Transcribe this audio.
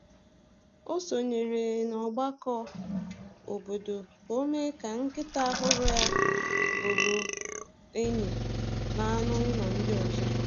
O sonyeere n’ọgbakọ obodo ka o mee ka nkịta ọhụrụ ya bụrụ enyi na anụ ụlọ ndị ọzọ.